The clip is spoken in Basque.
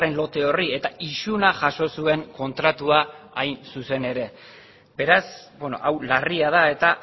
lote horri eta isuna jaso zuen kontratua hain zuzen ere beraz hau larria da eta